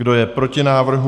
Kdo je proti návrhu?